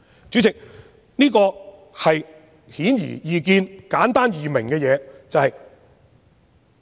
主席，這是顯而易見、簡單易明的論點。